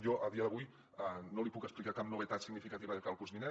jo a dia d’avui no li puc explicar cap novetat significativa de cara al curs vinent